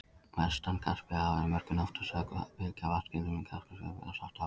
Vestan Kaspíahafs eru mörkin oftast sögð fylgja vatnaskilum í Kákasusfjöllum að Svartahafi.